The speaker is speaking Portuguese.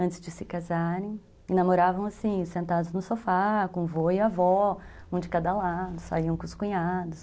Antes de se casarem, namoravam assim, sentados no sofá, com vô e avó, um de cada lado, saiam com os cunhados.